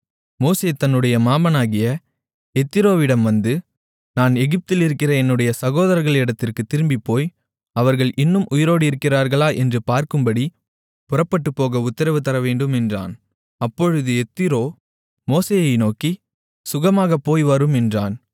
மோசே தன்னுடைய மாமனாகிய எத்திரோவிடம் வந்து நான் எகிப்திலிருக்கிற என்னுடைய சகோதரர்களிடத்திற்குத் திரும்பிப்போய் அவர்கள் இன்னும் உயிரோடு இருக்கிறார்களா என்று பார்க்கும்படிப் புறப்பட்டுப்போக உத்திரவு தரவேண்டும் என்றான் அப்பொழுது எத்திரோ மோசேயை நோக்கி சுகமாகப் போய்வாரும் என்றான்